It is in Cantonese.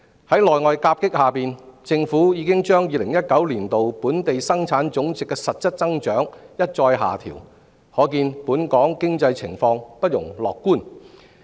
在內外夾擊下，政府已將2019年本地生產總值的實質增長一再下調，可見本港經濟情況不容樂觀。